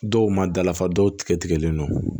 Dɔw ma dafa dɔw tigɛ tigɛlen don